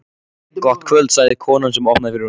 Gott kvöld sagði konan sem opnaði fyrir honum.